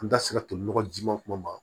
An da sera toli nɔgɔji ma kuma min